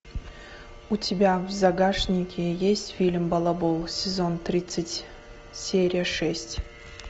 у тебя в загашнике есть фильм балабол сезон тридцать серия шесть